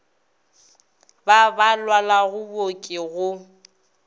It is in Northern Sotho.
ba ba lwalago booki go